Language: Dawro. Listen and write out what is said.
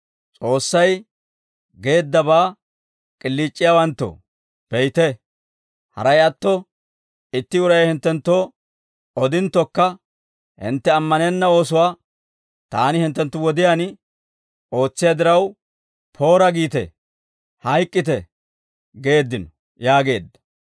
« ‹S'oossay geeddabaa k'iliic'iyaawanttoo, be'ite; haray atto itti uray hinttenttoo odinttokka, hintte ammanenna oosuwaa taani hinttenttu wodiyaan, ootsiyaa diraw, poora giite; hayk'k'ite› geeddino» yaageedda.